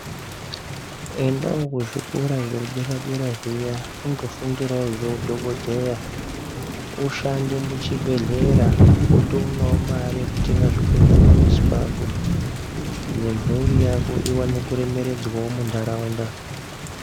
Endawo kuzvikora zvedera-dera zviya undofundirawo zveudhogodheya ushande muchibhehlera wotoonawo mare yekutenga zvekurya pamuzi pako. Nemhuri yako iwane kuremeredzwawo muntaraunda.